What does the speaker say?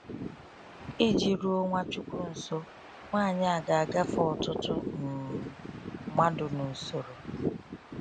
Iji ruo Nwachukwu nso, nwanyị a ga agafe ọtụtụ um mmadụ n’usoro.